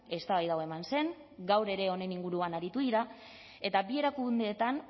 eztabaida hau eman zen gaur ere honen inguruan aritu dira eta bi erakundeetan